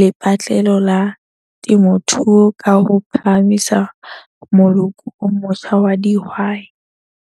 lepatlelo la temothuo ka ho phahamisa moloko o motjha wa dihwai.